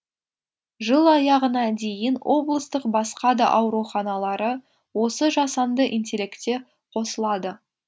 жыл аяғына дейін облыстық басқа да ауруханалары осы жасанды интеллектте қосылады